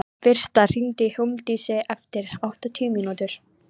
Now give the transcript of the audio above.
Birta, hringdu í Hólmdísi eftir áttatíu mínútur.